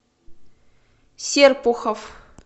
серпухов